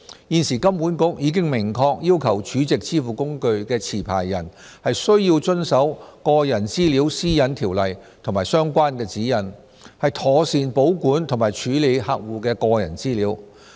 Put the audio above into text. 現時金管局已明確要求儲值支付工具持牌人須遵守《個人資料條例》和相關指引，妥善保管及處理客戶的個人資料。